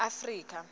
afrika